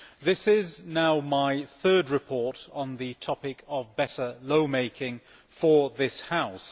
This is now my third report on the topic of better lawmaking for this House.